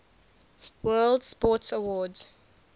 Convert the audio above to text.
world sports awards